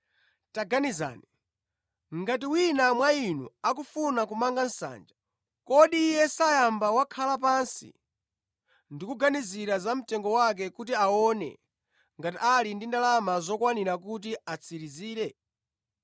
“Taganizani, ngati wina mwa inu akufuna kumanga nsanja, kodi iye sayamba wakhala pansi ndi kuganizira za mtengo wake kuti aone ngati ali ndi ndalama zokwanira kuti atsirizire?